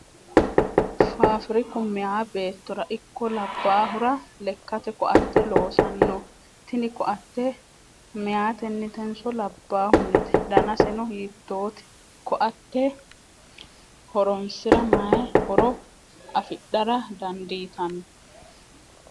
Faafiriku meyaa beettora ikko labbaaahora lekkate koatte loosanno tini koatte meyaatenitenso labbahunite? Danaseno hiittote? Koatte horonsira mayii horo afidhara dandiitanno?